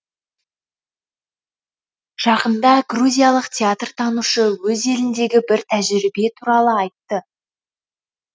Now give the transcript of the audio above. жақында грузиялық театртанушы өз еліндегі бір тәжірибе туралы айтты